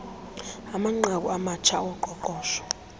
amanqaku amatsha oqoqosho